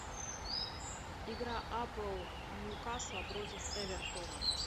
игра апл ньюкасла против эвертона